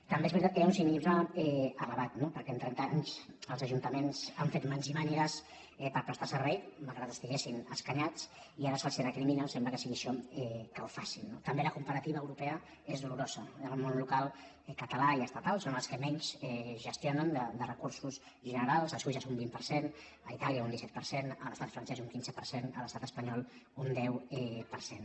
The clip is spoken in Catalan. també és ve·ritat que hi ha un cinisme elevat no perquè amb tren·ta anys els ajuntaments han fet mans i mànigues per prestar servei malgrat que estiguessin escanyats i ara se’ls recrimina sembla que sigui això que ho facin no també la comparativa europea és dolorosa el món local català i estatal són els que menys gestionen de re·cursos generals a suïssa és un vint per cent a itàlia un disset per cent a l’estat francès un quinze per cent a l’estat espanyol un deu per cent